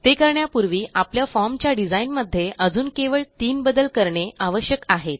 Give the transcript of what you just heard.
ते करण्यापूर्वी आपल्या formच्या डिझाईनमध्ये अजून केवळ तीन बदल करणे आवश्यक आहेत